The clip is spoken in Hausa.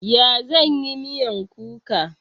Ya zan yi miyan kuka?